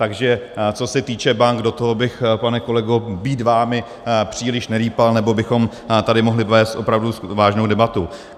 Takže co se týče bank, do toho bych, pane kolego, být vámi příliš nerýpal, nebo bychom tady mohli vést opravdu vážnou debatu.